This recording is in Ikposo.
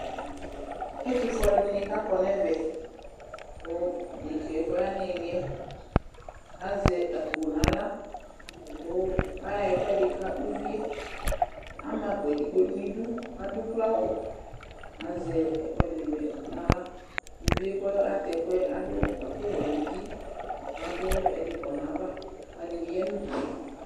Ɛtʋfue alʋɛdɩnɩ kʋ akɔ nʋ ɛvɛ kʋ dekǝ yɛ kʋ ɔya nʋ ɩɩlɩ yɛ azɛ akpo nʋ aɣla kʋ ayɔ ɛkʋɛdɩ ka uvi yɛ Ama akpo yɛ edigbo nʋ idu, adʋ ukloawʋ, azɛ ɛkʋɛdɩnɩ bɩ nʋ aɣla Uvi yɛ kʋ atɛ ɛkʋ yɛ adʋ ɛkʋwɛ nʋ uti kʋ adʋ ɛdɩ kɔ nʋ ayava, alʋɛdɩnɩ bɩ ya nʋ udu yɛ